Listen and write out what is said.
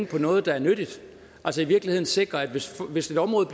på noget der er nyttigt altså i virkeligheden sikre at hvis hvis et område